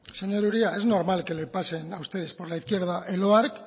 señor uria es normal que le pasen a ustedes por la izquierda el oarc